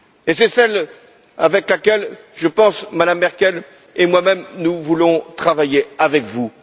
C'est celle sur laquelle, je pense, Mme Merkel et moi même, nous voulons travailler avec vous.